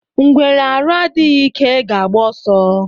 Ngwere arụ adịghị ike ga agba ọsọ.